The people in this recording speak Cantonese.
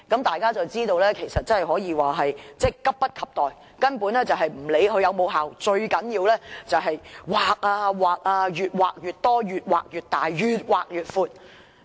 大家於是知道他們根本急不及待，不理會有效與否，最重要的是越劃越多、越劃越大、越劃越闊。